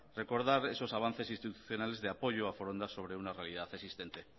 recordar esos avances institucionales de apoyo a foronda sobre una realidad existente